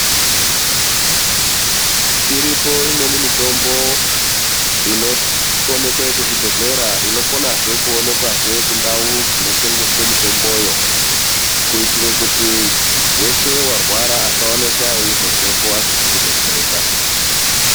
Iripo imweni mitombo inoonekwe kuzvibhedhleya inokona kuonekazve kundau dzinotengeswa mitomboyo kuitira kuti weshe warwara asazobvepo asizi kudetsereka.